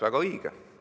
Väga õige!